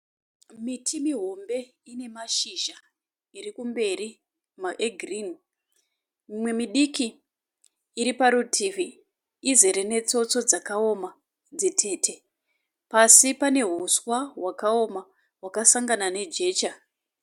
Miti mihombe inemashizha irikumberi egirinhi, mumwe midiki iriparutivi izere netsotso dzakawoma dzitete. Pasi paneuswa hwakaoma hwakasangana nejecha.